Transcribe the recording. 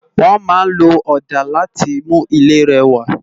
Wòn má n ló òdá làtí mú ilé rèwá